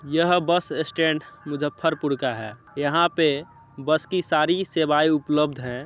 यह bus stand Muzaffarpur का है। यहाँ पे बस की सारी सेवाएं उपलब्ध है।